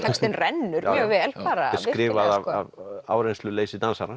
textinn rennur mjög vel skrifað af